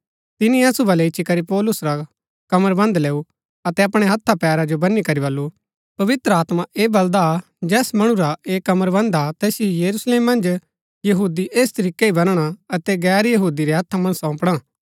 तिनी असु बलै इच्ची करी पौलुस रा कमरबन्ध लैऊ अतै अपणै हत्था पैरा जो बनी करी बल्लू पवित्र आत्मा ऐह बलदा जैस मणु रा ऐह कमरबन्ध हा तैसिओ यरूशलेम मन्ज यहूदी ऐस तरीकै ही बनणा अतै गैर यहूदी रै हत्था मन्ज सौंपणा